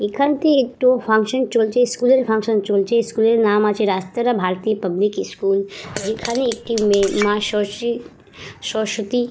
এখানটি একটু ফাঙ্কশন চলছে স্কুল -এর ফাঙ্কশন চলছে। স্কুলের নাম আছে রাসতারা ভারতী পাবলিক স্কুল যেখানে একটি মেয়ে মা সসী সরস্বতী--